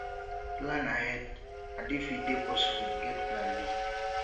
plan ahead and if e dey possible get plan b